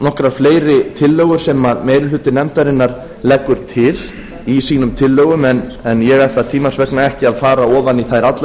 nokkrar fleiri tillögur sem meiri hluti nefndarinnar leggur til í sínum tillögum en ég ætla tímans vegna ekki að fara ofan í þær allar